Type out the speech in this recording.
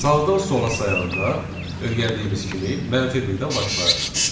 Sağdan sola sayanda, öyrəndiyimiz kimi, -1-dən başlayarıq.